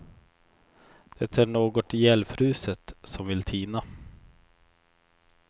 Det är något ihjälfruset som vill tina.